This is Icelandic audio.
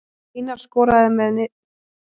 Einar skoraði með viðstöðulausu skoti frá vítateig.